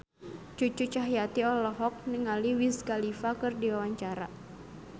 Cucu Cahyati olohok ningali Wiz Khalifa keur diwawancara